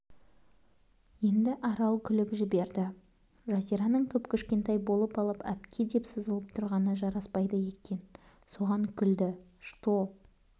енді арал күліп жіберді жазираның кіп-кішкентай болып алып әпкедеп сызылып тұрғаны жараспайды екен соған күлді что